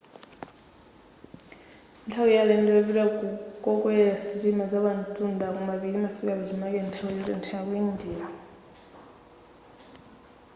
nthawi ya alendo yopita ku kokwelera sitima zapamtunda kumapiri imafika pachimake nthawi yotentha yaku india